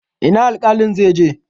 Ina alƙalin zai je?